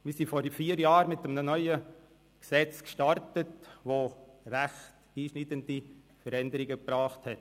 Wir sind vor vier Jahren mit einem neuen Gesetz gestartet, das ziemlich einschneidende Veränderungen mit sich gebracht hat.